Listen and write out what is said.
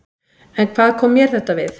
En hvað kom mér þetta við?